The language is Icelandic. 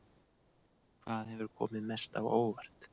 Hvað hefur komið mest á óvart?